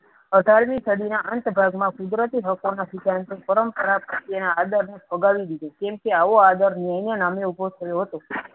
અઢાર મી સડી ના અંત ભાગ માં કુદરતી હકો ના સિધાર્થો પરં પરત આગામી ભગાવી દીધી કેમ કે આવો આદર ન્યાયને નામે ઉભો કરીયો હતો